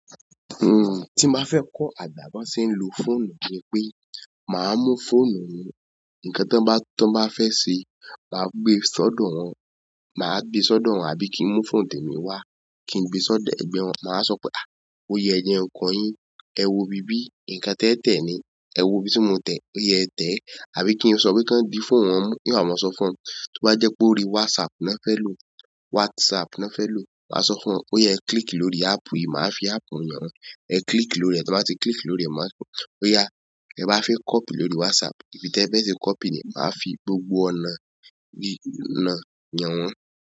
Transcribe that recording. Hmm, tín ba fẹ́ kọ́ àgbà bán ṣe ń lo fóònù ni pé máa mú fóònù mi, ǹkan tan bá, tan bá fẹ́ ṣe máa gbé sọdọ wọn, máa gbé sódò wọn àbí kí n mú fóònù tèmi wá, kí n gbé sọdọ ẹgbẹ́ wọn. Máa sọ pé "à, ó yẹ ẹ jẹn kọ yín, ẹ wo ibi bí ǹkan tẹ tẹ̀ ni, ẹ wo ibi tí mo tẹ̀, óya ẹ tẹ̀" àbí kí n sọ pe kan bí fóònù wọn mú. Nn wa màá sọ fún wọn, tí ó bá jẹ́ pé orí WhatsApp na fẹ́ lò, WhatsApp na fẹ́ lò, màá sọ fún wọn "óya ẹ click lórí app yìí", màá fi app un hàn wọ́n. "Ẹ click lórí rẹ̀", tí wọ́n bá ti click lórí rẹ̀, màá sọ "óyá, ẹ bá fẹ́ copy lórí WhatsApp, bí tẹ bẹ́ ṣe copy ni", màá fi gbogbo ọ̀nà náà hán wọ́n.